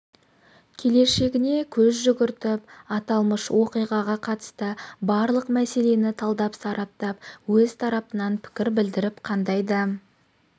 келешегіне көз жүгіртіп аталмыш оқиғаға қатысты барлық мәселені талдап-сараптап өз тарапынан пікір білдіріп қандай да